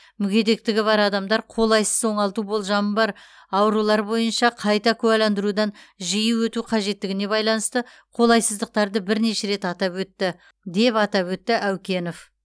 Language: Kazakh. мүгедектігі бар адамдар қолайсыз оңалту болжамы бар аурулар бойынша қайта куәландырудан жиі өту қажеттігіне байланысты қолайсыздықтарды бірнеше рет атап өтті деп атап өтті әукенов